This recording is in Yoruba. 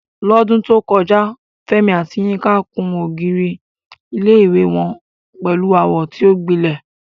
Lọ́dún tó kọjá, Fẹ́mi àti Yinka kùn ògiri ilé-ìwé wọn pẹ̀lú àwọ̀ tí ó gbilẹ̀.